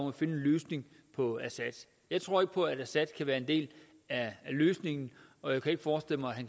at finde en løsning på assad jeg tror ikke på at assad kan være en del af løsningen og jeg kan ikke forestille mig at